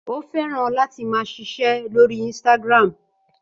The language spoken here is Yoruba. Ó fẹ́ràn láti máa ṣiṣẹ́ lórí Instagram.